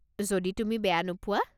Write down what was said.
যদি তুমি বেয়া নোপোৱা।